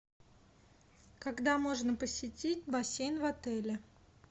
когда можно посетить бассейн в отеле